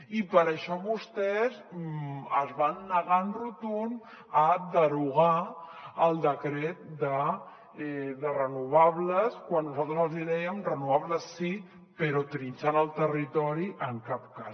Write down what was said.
i per això vostès es van negar en rotund a derogar el decret de renovables quan nosaltres els hi dèiem renovables sí però trinxant el territori en cap cas